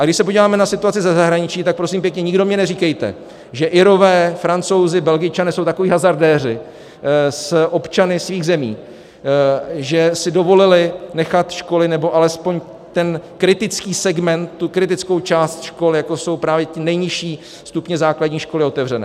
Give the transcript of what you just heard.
A když se podíváme na situaci ze zahraničí, tak prosím pěkně, nikdo mně neříkejte, že Irové, Francouzi, Belgičané jsou takoví hazardéři s občany svých zemí, že si dovolili nechat školy nebo alespoň ten kritický segment, tu kritickou část škol jako jsou právě ty nejnižší stupně základní školy, otevřené.